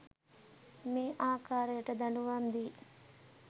මේ ආකාරයට දඬුවම් දී